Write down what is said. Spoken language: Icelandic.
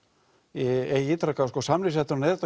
ég ítreka að samningsrétturinn er